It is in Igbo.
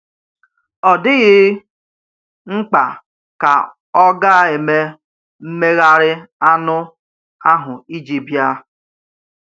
Ọ dịghị mkpa ka ọ gà-eme mmegharị anụ ahụ iji bịa.